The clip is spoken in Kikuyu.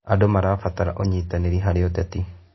Andũ marabatara ũnyitanĩri harĩ ũteti.